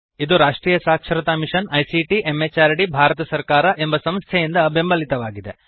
ಇದುರಾಷ್ಟ್ರಿಯ ಸಾಕ್ಷರತಾ mission ICT MHRD Bharat ಸರ್ಕಾರ ಎಂಬ ಸಂಸ್ಥೆಯಿಂದಬೆಂಬಲಿತವಾಗಿದೆ